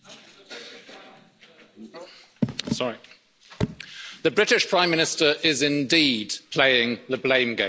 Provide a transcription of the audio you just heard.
Mr President, the British Prime Minister is indeed playing the blame game.